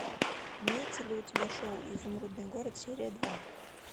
имеется ли у тебя шоу изумрудный город серия два